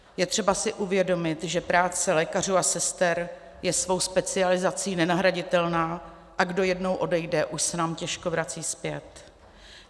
Je třeba si uvědomit, že práce lékařů a sester je svou specializací nenahraditelná, a kdo jednou odejde, už se nám těžko vrací zpět.